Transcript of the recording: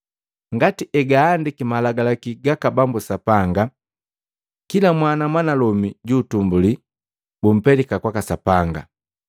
ngati egaandiki malagalaki gaka Bambu Sapanga, “Kila mwana mwanalomi juutumbuli bumpelika kwaka Sapanga.”